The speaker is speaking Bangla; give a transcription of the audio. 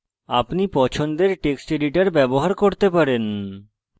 আপনি পছন্দের text editor ব্যবহার করতে পারেন